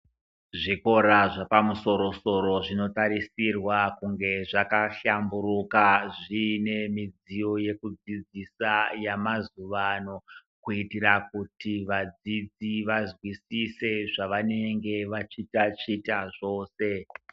Zvikora zvepamusorosoro zvinotarisirwa kunge zvakahlamburuka zvine midziyo yekudzidzisa yemazuwa ano kuitira kuti vadzidzi vazwizise zvavanenge vachitaticha zvose.